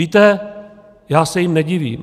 Víte, já se jim nedivím.